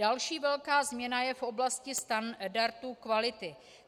Další velká změna je v oblasti standardu kvality.